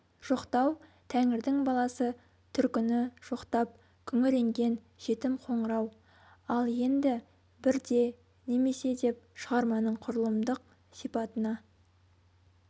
жоқтау тәңірдің баласы түркіні жоқтап күңіренген жетім қоңырау ал енді бірде немесе деп шығарманың құрылымдық сипатына